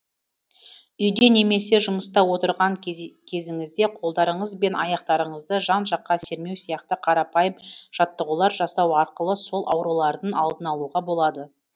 үйде немесе жұмыста отырған кезіңізде қолдарыңыз бен аяқтарыңызды жан жаққа сермеу сияқты қарапайым жаттығулар жасау арқылы сол аурулардың алдын алуға болады